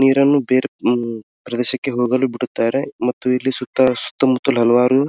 ನೀರನ್ನು ಬೇರೆ ಪ್ರದೇಶಕ್ಕೆ ಹೋಗಲು ಬಿಡುತ್ತಾರೆ ಮತ್ತು ಇಲ್ಲಿ ಸುತ್ತ ಸುತ್ತಮುತ್ತಲು ಹಲವಾರು.